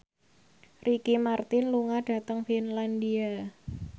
Ricky Martin lunga dhateng Finlandia